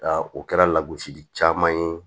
O kɛra lagosi caman ye